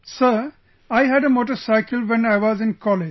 Sir, I had a motorcycle when I was in college